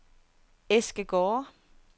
Eskegårde